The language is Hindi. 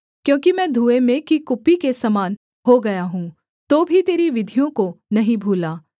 क्योंकि मैं धुएँ में की कुप्पी के समान हो गया हूँ तो भी तेरी विधियों को नहीं भूला